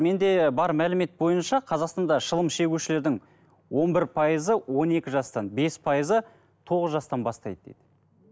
менде бар мәлімет бойынша қазақстанда шылым шегушілердің он бір пайызы он екі жастан бес пайызы тоғыз жастан бастайды дейді